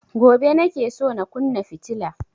Gobe nake so na kunna fitila